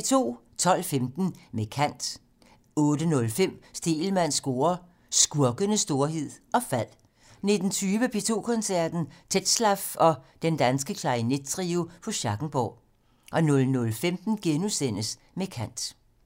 12:15: Med kant 18:05: Stegelmanns score: Skurkenes storhed og fald 19:20: P2 Koncerten - Tetzlaff og Den Danske Klarinettrio på Schackenborg 00:15: Med kant *